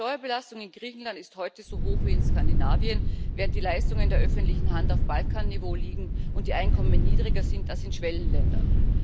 Die Steuerbelastung in Griechenland ist heute so hoch wie in Skandinavien, während die Leistungen der öffentlichen Hand auf Balkan Niveau liegen und die Einkommen niedriger sind als in Schwellenländern.